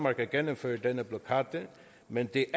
at gennemføre denne blokade men det